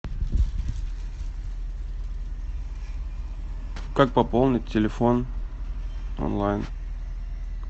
как пополнить телефон онлайн